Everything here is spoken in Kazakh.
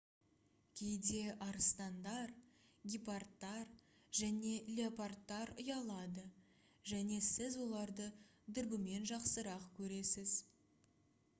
кейде арыстандар гепардтар және леопардтар ұялады және сіз оларды дүрбімен жақсырақ көресіз